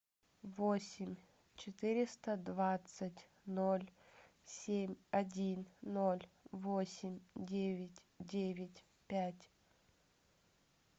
восемь четыреста двадцать ноль семь один ноль восемь девять девять пять